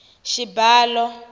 xibalo